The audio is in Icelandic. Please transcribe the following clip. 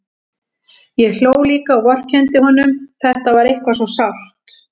Ég hló líka og vorkenndi honum, þetta var eitthvað svo sárt.